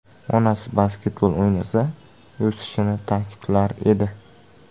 Onasi basketbol o‘ynasa o‘sishini ta’kidlar edi.